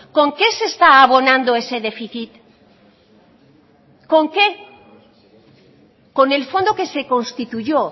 con qué se está abonando ese déficit con qué con el fondo que se constituyó